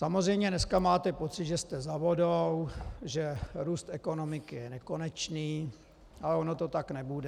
Samozřejmě dneska máte pocit, že jste za vodou, že růst ekonomiky je nekonečný, ale ono to tak nebude.